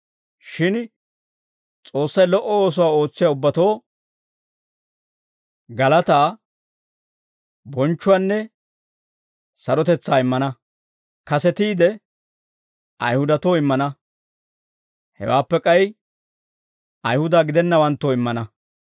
Shin S'oossay lo"o oosuwaa ootsiyaa ubbatoo galataa, bonchchuwaanne sarotetsaa immana. Kasetiide Ayihudatoo immana; hewaappe k'ay Ayihuda gidennawanttoo immana.